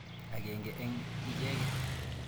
Akenge eng' icheket.